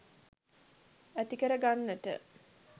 ඇතිකර ගන්නට.